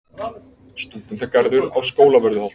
Stúdentagarður á Skólavörðuholti.